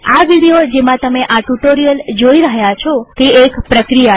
આ વિડીયો જેમાં તમે આ ટ્યુ્ટોરીઅલ જોઈ રહ્યા છો તે એક પ્રક્રિયા છે